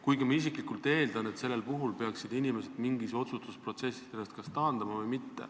Kuigi ma isiklikult eeldan, et sellel puhul peaksid inimesed ennast otsustusprotsessist taandama.